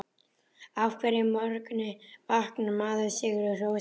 Á hverjum morgni vaknar maður sigri hrósandi.